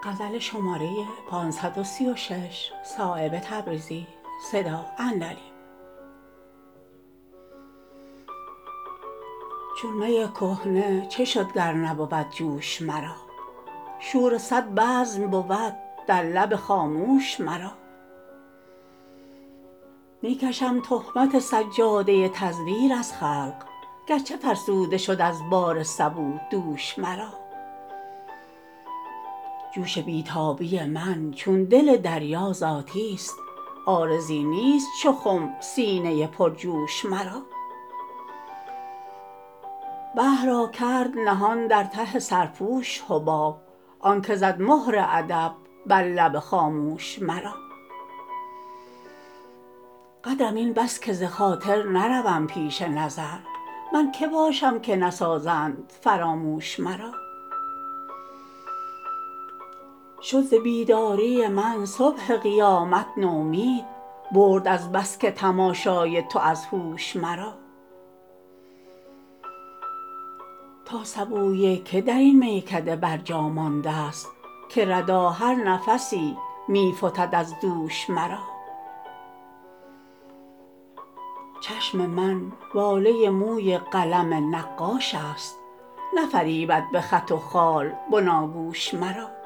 چون می کهنه چه شد گر نبود جوش مرا شور صد بزم بود در لب خاموش مرا می کشم تهمت سجاده تزویر از خلق گرچه فرسوده شد از بار سبو دوش مرا جوش بی تابی من چون دل دریا ذاتی است عارضی نیست چو خم سینه پر جوش مرا بحر را کرد نهان در ته سرپوش حباب آن که زد مهر ادب بر لب خاموش مرا قدرم این بس که ز خاطر نروم پش نظر من که باشم که نسازند فراموش مرا شد ز بیداری من صبح قیامت نومید برد از بس که تماشای تو از هوش مرا تا سبوی که درین میکده بر جا مانده است که ردا هر نفسی می فتد از دوش مرا چشم من واله موی قلم نقاش است نفریبد به خط و خال بناگوش مرا